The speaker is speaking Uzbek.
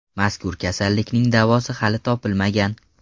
Mazkur kasallikning davosi hali topilmagan.